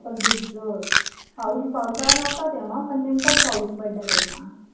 आपण भिजलो, पाऊस पावसाळा नव्हता तेव्हा, पण नेमकाच पाऊस पडला तेव्हा